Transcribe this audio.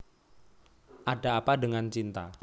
Ada Apa Dengan Cinta